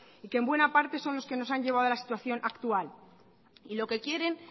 y que en buena parte son los que nos han llevado de la situación actual y lo que quieren